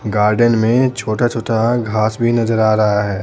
Garden में छोटा-छोटा घास भी नजर आ रहा है।